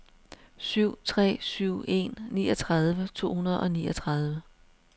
syv tre syv en niogtredive to hundrede og niogtredive